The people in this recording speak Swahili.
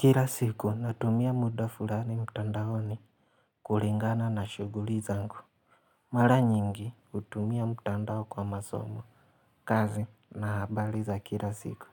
Kila siku natumia muda fulani mtandaoni kulingana na shughuli zangu. Mara nyingi hutumia mtandao kwa masomo, kazi na habari za kila siku.